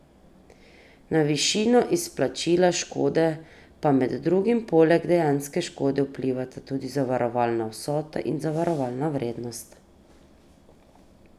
Na višino izplačila škode pa med drugim poleg dejanske škode vplivata tudi zavarovalna vsota in zavarovalna vrednost.